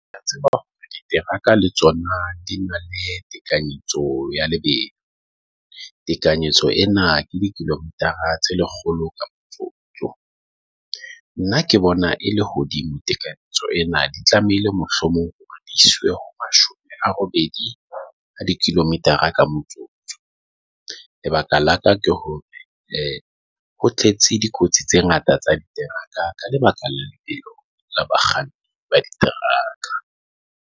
Ke a tseba hore diteraka le tsona di na le tekanyetso ya lebehe. Tekanyetso ena ke di kilometer tse lekgolo ka nna ke bona e lehodimo. Tekanyetso ena di tlamehile mohlomong ho mashome a robedi ka di kilometer a ka motsotso. Lebaka la ka ke hore ho tletse dikotsi tse ngata tsa di teraka ka lebaka la bakganni ba diteraka.